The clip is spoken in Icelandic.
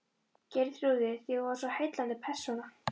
Geirþrúði, því hún var svo heillandi persóna.